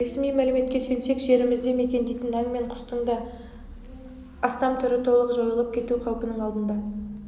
ресми мәліметке сүйенсек жерімізде мекендейтін аң мен құстың ден астам түрі толық жойылып кету қаупінің алдында